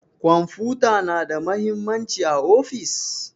kwamfuta na da mahimmanci a ofis?